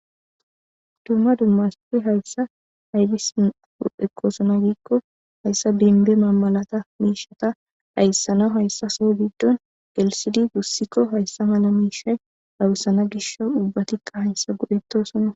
Dumma dumma asati hayssa abisi ekkosona giiko hayssa bimbbe mallata mishsheta dhayssanawu hayssa soho giddon gellisidi gussiko hayssa malla mishshe dhaysanas gishshawu ubbatika hayssa go'ettosona.